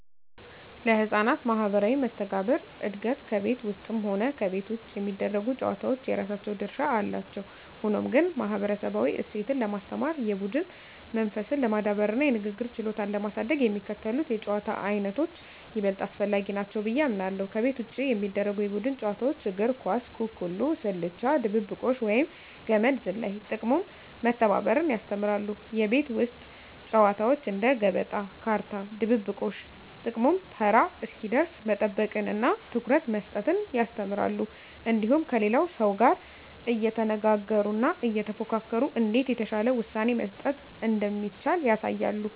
ለሕፃናት ማኅበራዊ መስተጋብር እድገት ከቤት ውስጥም ሆነ ከቤት ውጭ የሚደረጉ ጨዋታዎች የራሳቸው ድርሻ አላቸው። ሆኖም ግን፣ ማኅበረሰባዊ እሴትን ለማስተማር፣ የቡድን መንፈስን ለማዳበርና የንግግር ችሎታን ለማሳደግ የሚከተሉት የጨዋታ ዓይነቶች ይበልጥ አስፈላጊ ናቸው ብዬ አምናለሁ፦ ከቤት ውጭ የሚደረጉ የቡድን ጨዋታዎች እግር ኳስ፣ ኩኩሉ፣ ስልቻ ድብብቆሽ፣ ወይም ገመድ ዝላይ። ጥቅሙም መተባበርን ያስተምራሉ። የቤት ውስጥ ጨዋታዎች እንደ ገበጣ፣ ካርታ፣ ድብብቆሽ… ጥቅሙም ተራ እስኪደርስ መጠበቅንና ትኩረት መስጠትን ያስተምራሉ። እንዲሁም ከሌላው ሰው ጋር እየተነጋገሩና እየተፎካከሩ እንዴት የተሻለ ውሳኔ መስጠት እንደሚቻል ያሳያሉ።